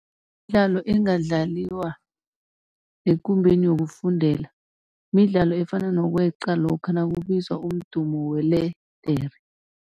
Imidlalo engadlaliwa ngekumbeni yokufundela midlalo efana nokweqa lokha nakubizwa umdumo weledere.